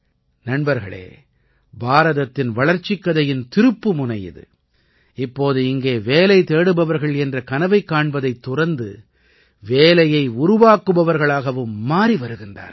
நண்பர்களே பாரதத்தின் வளர்ச்சிக் கதையின் திருப்புமுனை இது இப்போது இங்கே வேலை தேடுபவர்கள் என்ற கனவை காண்பதைத் துறந்து வேலையை உருவாக்குபவர்களாகவும் மாறி வருகிறார்கள்